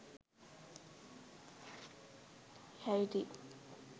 haiti